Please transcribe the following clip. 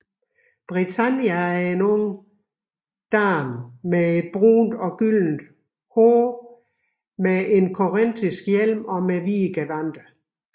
Britannia er en ung kvinde med brunt eller gyldent hår med en korintisk hjelm og hvide gevandter